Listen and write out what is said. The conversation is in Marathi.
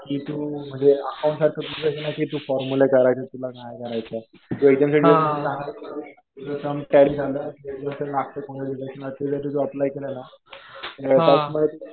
बाकी तु म्हणजे अकाउंट सारखं तुझं हे नाही कि फॉर्मुला करायचा. तुला नाही करायचा. तुझं सम टॅली झालं. ते जर तु अप्लाय केलं ना तर